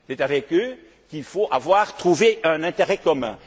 Américains. C'est avec eux qu'il faut avoir trouvé un intérêt